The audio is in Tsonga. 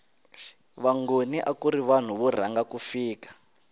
vangoni akuri vanhu vo rhanga ku fika